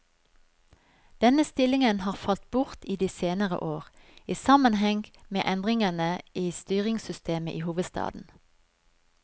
Denne stillingen har falt bort i de senere år, i sammenheng med endringene i styringssystemet i hovedstaden.